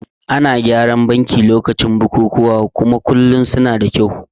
Ana gyaran banki lokacin bukukuwa kuma bankuna kullum suda kyau